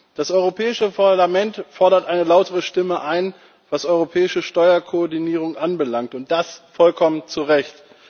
Das Europäische Parlament fordert eine lautere Stimme ein, was europäische Steuerkoordinierung anbelangt, und das vollkommen zu Recht.